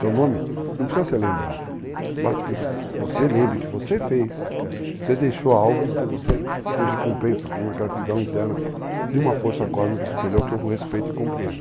Seu nome não precisa ser lembrado, basta que você lembre que você fez, você deixou algo para você ser recompensa, uma gratidão interna de uma força cósmica superior que eu respeito e compreendo.